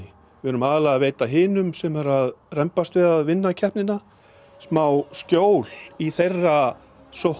við erum aðallega að veita hinum sem eru að rembast við að vinna keppnina smá skjól í þeirra sókn